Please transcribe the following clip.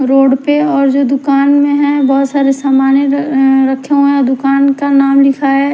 road पे और जो दुकान में हैं बहोत सारे सामनें अं रखे हुए हैं और दुकान का नाम लिखा --